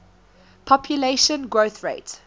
population growth rate